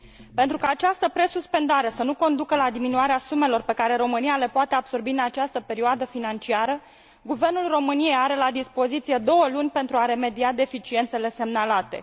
Pentru ca această presuspendare să nu conducă la diminuarea sumelor pe care România le poate absorbi în această perioadă financiară, guvernul României are la dispoziție două luni pentru a remedia deficiențele semnalate.